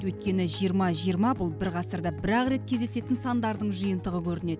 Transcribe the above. өйткені жиырма жиырма бұл бір ғасырда бір ақ рет кездесетін сандардың жиынтығы көрінеді